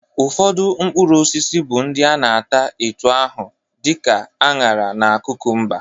Ụfọdụ mkpụrụosisi bụ ndị a na-ata etu ahụ dị ka añara na kụkụmba